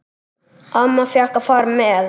Amma fékk að fara með.